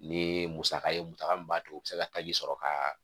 Ni ye musaka ye musaka min b'a to u be se ka taji sɔrɔ ka